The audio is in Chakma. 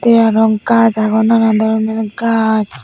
tey aro gaj agon nanandoronor gaj.